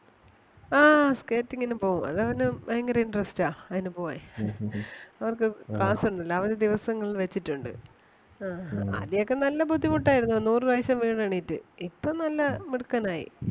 ആ skating ന് പോവും അത് അവന് ഭയങ്കര interest ആ. അതിനു പോവാൻ അവർക്ക് class ഒന്നൂല്ലാ അവര് ദിവസങ്ങൾ വെച്ചിട്ടൊണ്ട് ആഹ് ആദ്യോക്കെ നല്ല ബുദ്ധിമുട്ട് ആയിരുന്നു നൂറ് പ്രാവശ്യം വീണ് എണീറ്റ് ഇപ്പം നല്ല മിടുക്കൻ ആയി.